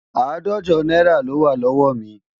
Àádòje náírà lówá lọ́wọ́ mi